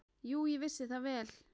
Jú, ég vissi það vel.